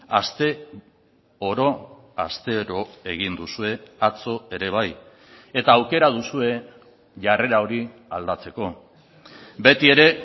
aste oro astero egin duzue atzo ere bai eta aukera duzue jarrera hori aldatzeko betiere